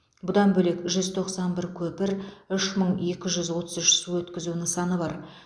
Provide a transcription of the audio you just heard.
бұдан бөлек жүз тоқсан бір көпір үш мың екі жүз отыз үш су өткізу нысаны бар